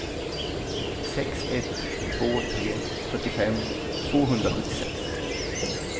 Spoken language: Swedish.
sex ett två tre fyrtiofem tvåhundrasjuttiosex